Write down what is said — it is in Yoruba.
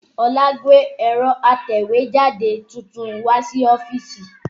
Olá gbé ẹ̀rọ atẹ̀wẹ́jáde tuntun wá sí ọ́fíìsì